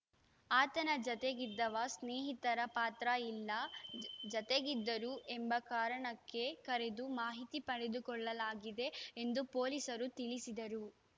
ಆತನ ಜತೆಗಿದ್ದವ ಸ್ನೇಹಿತರ ಪಾತ್ರ ಇಲ್ಲ ಜತೆಗಿದ್ದರು ಎಂಬ ಕಾರಣಕ್ಕೆ ಕರೆದು ಮಾಹಿತಿ ಪಡೆದುಕೊಳ್ಳಲಾಗಿದೆ ಎಂದು ಪೊಲೀಸರು ತಿಳಿಸಿದರು